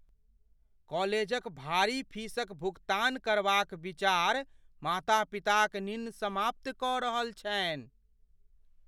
कॉलेजक भारी फीसक भुगतान करबाक विचार माता पिताक निन्न समाप्त कऽ रहल छनि ।